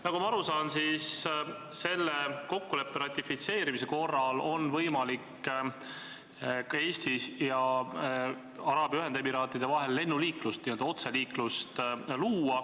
Nagu ma aru saan, on selle kokkuleppe ratifitseerimise korral võimalik luua Eesti ja Araabia Ühendemiraatide vahel lennuliiklus, n-ö otseliiklus.